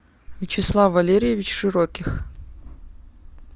вячеслав валерьевич широких